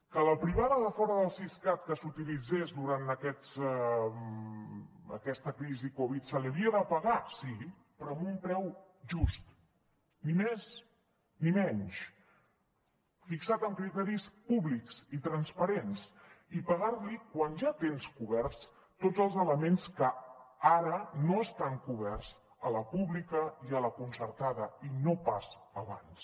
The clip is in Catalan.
que a la privada de fora del siscat que s’utilitzés durant aquesta crisi covid se li havia de pagar sí però amb un preu just ni més ni menys fixat amb criteris públics i transparents i pagar li quan ja tens coberts tots els elements que ara no estan coberts a la pública i a la concertada i no pas abans